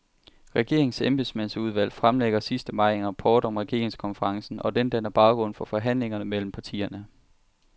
Regeringens embedsmandsudvalg fremlægger sidst i maj en rapport om regeringskonferencen, og den danner baggrund for forhandlingerne mellem partierne.